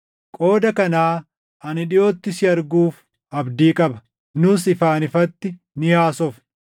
Qooda kanaa ani dhiʼootti si arguuf abdii qaba; nus ifaan ifatti ni haasofna.